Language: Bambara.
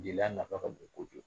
Jeliya nafa ka bon kojugu